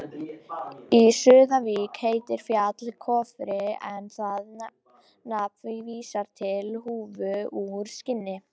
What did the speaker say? Í Súðavík heitir fjall Kofri en það nafn vísar til húfu úr skinni.